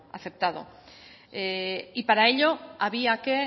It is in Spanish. aceptado y para ello había que